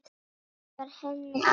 Hann var henni allt.